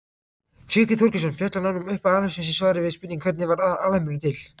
Tryggvi Þorgeirsson fjallar nánar um upphaf alheimsins í svari við spurningunni Hvernig varð alheimurinn til?